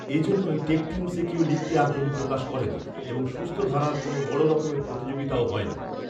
এজন্যই টেকটিউনসে কেউ লিখতে আগ্রহ প্রকাশ করে না এবং সুস্থধারার কোন বড় রকমের প্রতিযোগিতাও হয় না